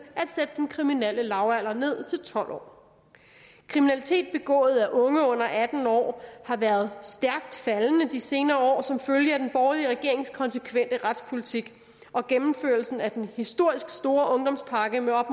at sætte den kriminelle lavalder ned til tolv år kriminalitet begået af unge under atten år har været stærkt faldende i de senere år som følge af den borgerlige regerings konsekvente retspolitik og gennemførelsen af den historisk store ungdomspakke med op